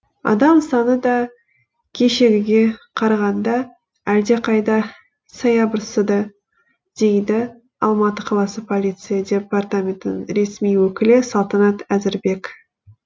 адам саны да кешегіге қарағанда әлдеқайда саябырсыды дейді алматы қаласы полиция департаментінің ресми өкілі салтанат әзірбек